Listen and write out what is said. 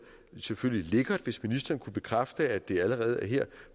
selvfølgelig lækkert hvis ministeren kunne bekræfte at det allerede er her